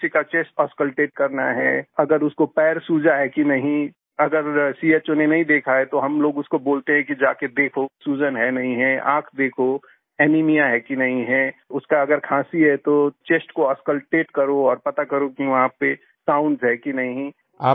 जैसे किसी का चेस्ट ऑस्कल्टेट करना है अगर उनको पैर सूजा है कि नहीं अगर चो ने नहीं देखा है तो हम लोग उसको बोलते है कि जाके देखो सूजन है नहीं है आँख देखो एनीमिया है कि नहीं है उसका अगर खाँसी है तो चेस्ट को ऑस्कल्टेट करो और पता करो कि वहाँ पे साउंड्स है कि नहीं